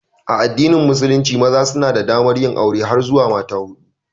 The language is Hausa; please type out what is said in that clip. A addinin musulunci, maza suna da damar yin aure har zuwa mata hudu.